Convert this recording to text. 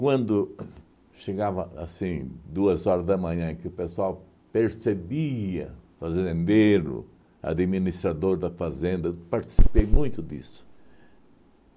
Quando chegava, assim, duas horas da manhã e que o pessoal percebia, fazendeiro, administrador da fazenda, eu participei muito disso.